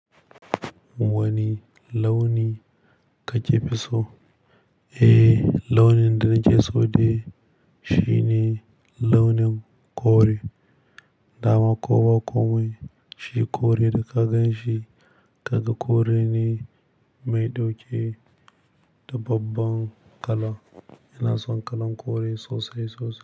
Wani launi ka ƙe fi so? Eh, launin da na ƙe so dai shine launin kore. Dama ko ba komai shi kore da ka gan shi, ka ga kore ne mai ɗauke da babban kala. Ina son kalan kore sosai sosai.